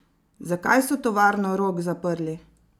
Zakaj so tovarno Rog zaprli?